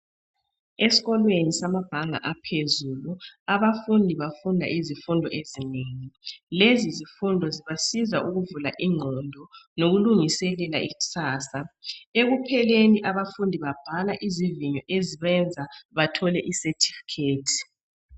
Eskolweni samabanga aphezulu abafundi bafunda izifundo ezinengi lezizifundo zibasiza ukuvula ingqondo lokulungiselela ikusasa ekupheleni abafundi babhala izivinyo ezibenza bathole i certificate.